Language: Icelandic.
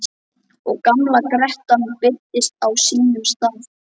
Og gamla grettan birtist á sínum stað.